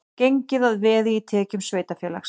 Gengið að veði í tekjum sveitarfélags